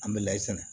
An bɛ layi sɛnɛ